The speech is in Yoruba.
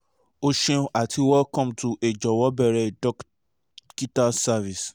o ṣeun ati welcome to a "jọwọ beere a dokita's service